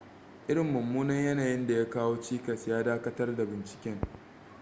irin mummunan yanayin da ya kawo cikas ya dakatar da binciken